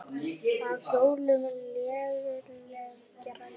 Á hjólum léleg græja.